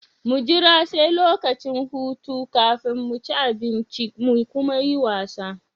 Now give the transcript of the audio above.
Mu jira sai lokacin hutu kafin mu ci abinci mu kuma muyi wasa.